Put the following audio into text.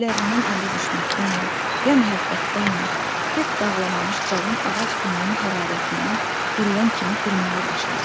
Evlərindən ayrı düşməkdənmi ya məhəbbətdənmi, kök bağlamamış cavan ağac gününün hərarətindən quruyan kimi qurmağa başladı.